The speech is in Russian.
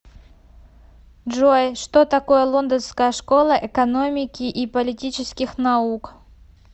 джой что такое лондонская школа экономики и политических наук